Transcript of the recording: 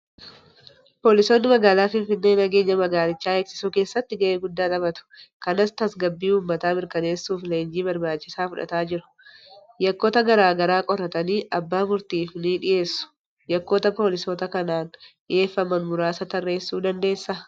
Poolisoonni magaalaa Finfinnee nageenya magaalichaa eegsisuu keessatti gahee guddaa taphatu. Kanas tasgabbii uummataa mirkaneessuuf leenjii barbaachisaa fudhachaa jiru. Yakkoota garaa garaa qoratanii abbaa murtiif ni dhiyeessu. Yakkoota poolisoota kanaan dhiyeeffaman muraasa tarreessuu dandeessaa?